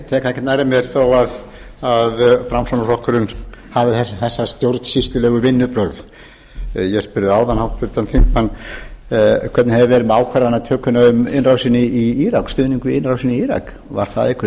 tek það ekkert nærri mér þó að framsóknarflokkurinn hafi þessi stjórnsýslulegu vinnubrögð ég spurði áðan háttvirtan þingmann hvernig það hefði verið með ákvarðanatökuna um innrásina í írak stuðning við innrásina í írak var það einhver